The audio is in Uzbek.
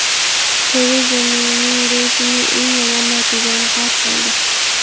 Tereza Meyning reytingi eng yomon natijani qayd qildi.